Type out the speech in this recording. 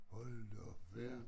Hold da op hva